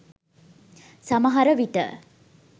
සමහර විට